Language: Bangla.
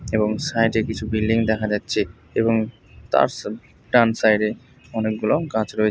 এবং সাইড এ কিছু বিল্ডিং দেখা যাচ্ছে এবং তার সা ডান সাইড এ অনেকগুলো গাছ রয়েছে।